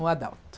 O Adalto.